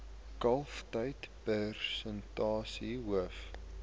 kalftyd persentasie hoof